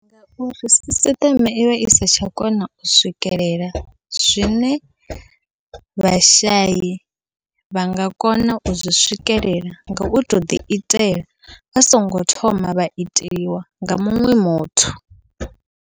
Uri sisiṱeme ivha isa tsha kona u swikelela zwine vhashai vha nga kona uzwi swikelela, ngau to ḓi itela vha songo thoma vha iteliwa nga muṅwe muthu.